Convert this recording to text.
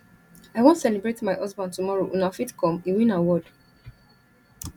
i wan celebrate my husband tomorrow una fit come he win award